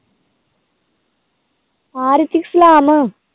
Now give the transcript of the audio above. ਹਾਂ ਰਿਤਿਕ ਸਲਾਮ